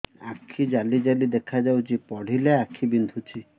ଆଖି ଜାଲି ଜାଲି ଦେଖାଯାଉଛି ପଢିଲେ ଆଖି ବିନ୍ଧୁଛି